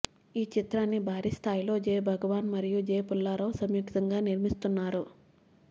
ఈ చిత్రాన్ని భారీ స్థాయిలో జే భగవాన్ మరియు జే పుల్లారావు సంయుక్తంగా నిర్మిస్తున్నారు